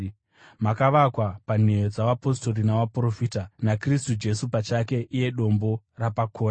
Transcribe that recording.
makavakwa panheyo dzavapostori navaprofita, naKristu Jesu pachake iye dombo rapakona.